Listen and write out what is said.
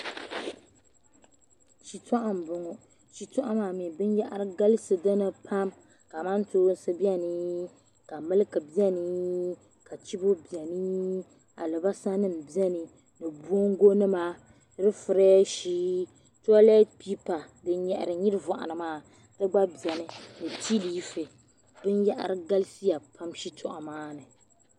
Shitɔɣu mbɔŋɔ shitɔɣu maa mi biyara galisi dini pam kamantoonsi bɛni ka miliki bɛni ka chibo bɛni alibarisa ŋim bɛni bongo nima eifrɛahi tɔlɛt pipa din yahiri nyirivɔɣu ni maa di gba bɛni tilefe bin yahiri galisiya pam shitɔɣu maa ni.